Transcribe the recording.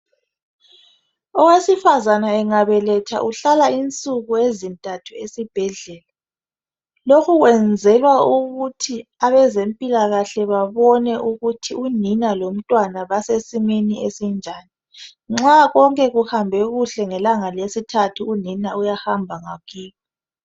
Owesifazana engabeletha uhlala insuku ezintathu esibhedlela. lokhu kwenzelwa ukuthi abezempilakahle babone ukuthi unina lomntwana basesimeni esinjani .nxa konke kuhambe kuhle ngelanga lesithathu unina uyahamba ngakibo..